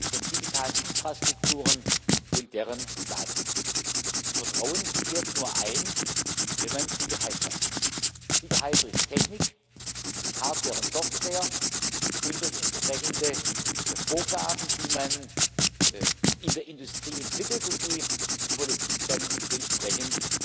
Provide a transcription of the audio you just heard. von digitalen Infrastrukturen und deren Daten. Vertrauen kehrt nur ein, wenn man Sicherheit schafft, Sicherheit durch Technik, durch Hardware und Software und durch entsprechende Vorgaben, die man in der Industrie entwickelt und die die Politik dann entsprechend